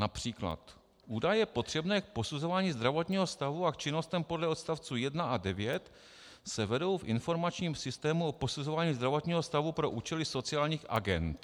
Například: "Údaje potřebné k posuzování zdravotního stavu a k činnostem podle odstavců 1 až 9 se vedou v informačním systému o posuzování zdravotního stavu pro účely sociálních agend."